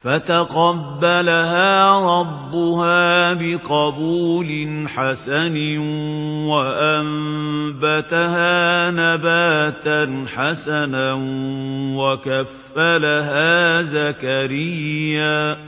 فَتَقَبَّلَهَا رَبُّهَا بِقَبُولٍ حَسَنٍ وَأَنبَتَهَا نَبَاتًا حَسَنًا وَكَفَّلَهَا زَكَرِيَّا ۖ